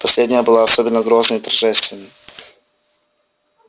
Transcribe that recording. последняя была особенно грозной и торжественной